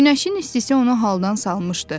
Günəşin istisi onu haldan salmışdı.